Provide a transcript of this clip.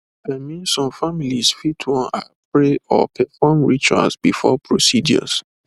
i mean some families fit wan ah pray or perform rituals before procedures